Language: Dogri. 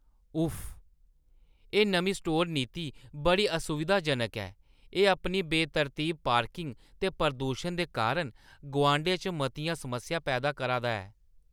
उफ्फ! एह् नमीं स्टोर नीति बड़ी असुविधाजनक ऐ। एह् अपनी बेतरतीब पार्किंग ते प्रदूशन दे कारण गुआंढै च मतियां समस्यां पैदा करा दा ऐ।